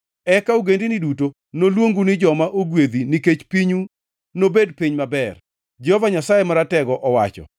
“Eka ogendini duto noluongu ni joma ogwedhi nikech pinyu nobed piny maber,” Jehova Nyasaye Maratego owacho.